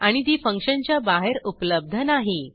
आणि ती फंक्शनच्या बाहेर उपलब्ध नाही